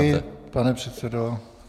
Děkuji, pane předsedo.